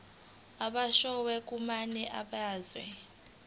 ababoshwe kwamanye amazwe